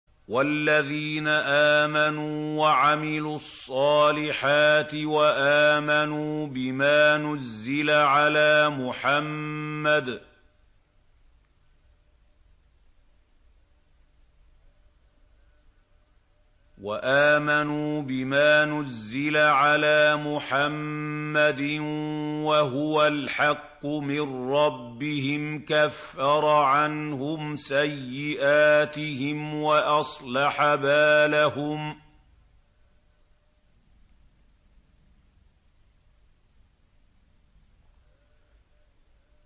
وَالَّذِينَ آمَنُوا وَعَمِلُوا الصَّالِحَاتِ وَآمَنُوا بِمَا نُزِّلَ عَلَىٰ مُحَمَّدٍ وَهُوَ الْحَقُّ مِن رَّبِّهِمْ ۙ كَفَّرَ عَنْهُمْ سَيِّئَاتِهِمْ وَأَصْلَحَ بَالَهُمْ